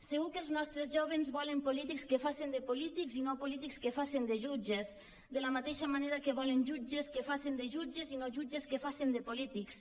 segur que els nostres jóvens volen polítics que facen de polítics i no polítics que facen de jutges de la mateixa manera que volen jutges que facen de jutges i no jutges que facen de polítics